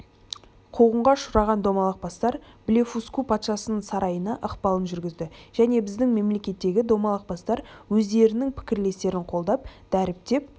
қуғынға ұшыраған домалақ бастар блефуску патшасының сарайына ықпалын жүргізді және біздің мемлекеттегі домалақ бастар өздерінің пікірлестерін қолдап дәріптеп